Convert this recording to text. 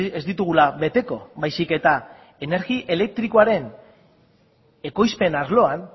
ez ditugula beteko baizik eta energi elektrikoaren ekoizpen arloan